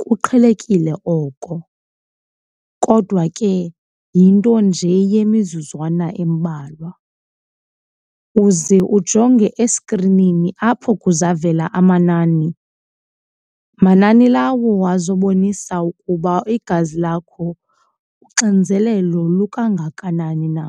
kuqhelekile oko kodwa ke yinto nje yemizuzwana embalwa. Uze ujonge esikrinini apho kuzavela amanani, manani lawo azobonisa ukuba igazi lakho uxinzelelo lukangakanani na.